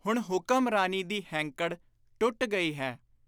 ਹੁਣ ਹੁਕਮਰਾਨੀ ਦੀ ਹੈਂਕੜ ਟੁੱਟ ਗਈ ਹੈ।